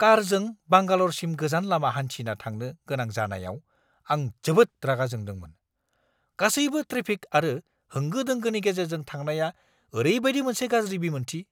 कारजों बांगाल'रसिम गोजान लामा हान्थिना थांनो गोनां जानायाव आं जोबोद रागा जोंदोंमोन! गासैबो ट्रेफिक आरो होंगो-दोंगोनि गेजेरजों थांनाया ओरैबादि मोनसे गाज्रि बिमोन्थि!